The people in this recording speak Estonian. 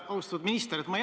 Austatud minister!